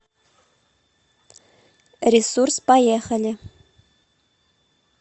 ресурс поехали